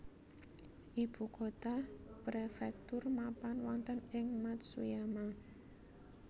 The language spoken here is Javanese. Ibu kota prefektur mapan wonten ing Matsuyama